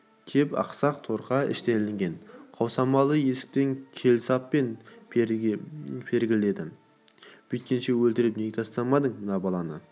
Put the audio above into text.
кеп ақсақ торқа іштен ілінген қаусырмалы есікті келсаппен пергіледі бүйткенше өлтіріп неге тастамадың мына баланы